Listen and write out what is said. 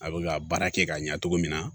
A bɛ ka baara kɛ ka ɲɛ cogo min na